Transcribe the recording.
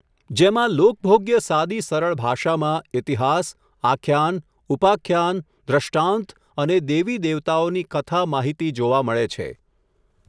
જેમાં લોકભોગ્ય સાદી સરળ ભાષામાં ઈતિહાસ, આખ્યાન, ઉપાખ્યાન, દ્રષ્ટાંત અને દેવી દેવતાઓની કથા માહિતી જોવા મળે છે.